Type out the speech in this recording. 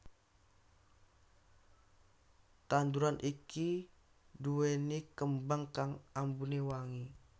Tanduran iki duwéni kembang kang ambune wangi